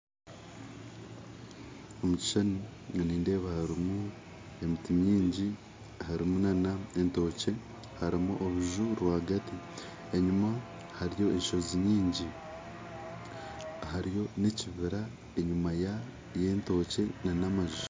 Omukishushani nindeeba harimu emiti mingi harimu nana entookye harimu oruju rwagaati enyumaho hariyo enshozi nyingi hariyo nekibira enyuma yentookye nana amaju